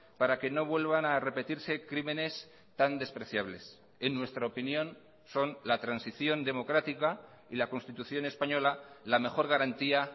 para que no vuelvan a repetirse crímenes tan despreciables en nuestra opinión son la transición democrática y la constitución española la mejor garantía